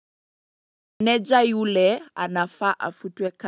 Meneja yule anafaa afutwe kazi.